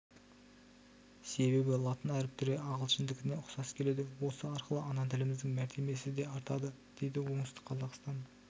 себебі латын әріптері ағылшындікіне ұқсас келеді осы арқылы ана тіліміздің мәртебесі де артады дейді оңтүстік қазақстан